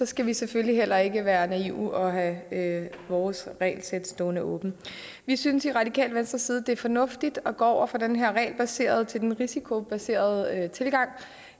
skal vi selvfølgelig heller ikke være naive og have have vores regelsæt stående åben vi synes i radikale venstre at det er fornuftigt at gå fra den her regelbaserede til den risikobaserede tilgang